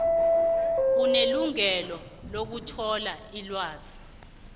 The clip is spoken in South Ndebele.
unelungelo lokuthola ilwazi